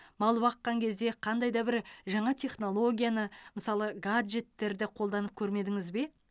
мал баққан кезде қандай да бір жаңа технологияны мысалы гаджеттерді қолданып көрмедіңіз бе